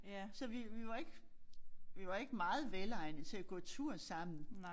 Så vi vi var ikke vi var ikke meget velegnede til at gå tur sammen